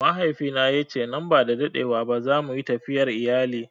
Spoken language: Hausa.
Mahaifina ya ce nan ba da dadewa ba za mu yi tafiyar iyali.